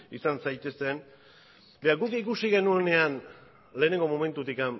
izan zaitezten guk ikusi genuenean lehenengo momentutik